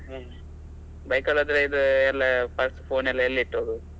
ಹ್ಮ್ bike ಅಲ್ಲಿ ಹೋದ್ರೆ ಇದು ಎಲ್ಲ purse phone ಎಲ್ಲಿ ಇಟ್ಟು ಹೋಗುದು.